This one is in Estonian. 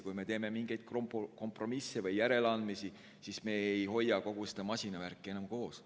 Kui me teeme mingeid kompromisse või järeleandmisi, siis me ei hoia kogu seda masinavärki enam koos.